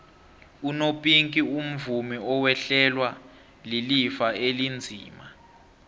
unopinki umvumi owehlelwa lilifa elinzima